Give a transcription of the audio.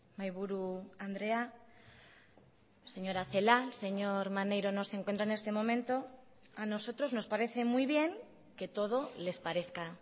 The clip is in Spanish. mahaiburu andrea señora celaá señor maneiro no se encuentra en este momento a nosotros nos parece muy bien que todo les parezca